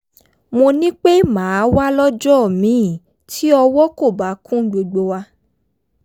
mo ní pé màá wá lọ́jọ́ míì tí ọwọ́ kò bá kún gbogbo wa